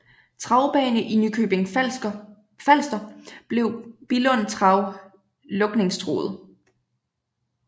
Travbane i Nykøbing Falster blev Billund Trav lukningstruet